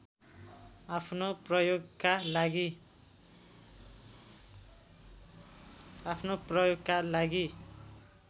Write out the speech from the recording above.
आफ्नो प्रयोगका लागि